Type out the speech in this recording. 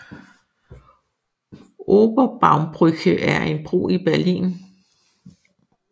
Oberbaumbrücke er en bro i Berlin